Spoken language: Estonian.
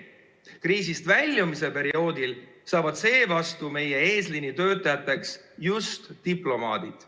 Kriisist väljumise perioodil saavad seevastu meie eesliinitöötajateks just diplomaadid.